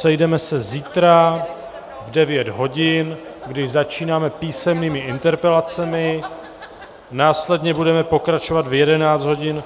Sejdeme se zítra v 9 hodin, kdy začínáme písemnými interpelacemi, následně budeme pokračovat v 11 hodin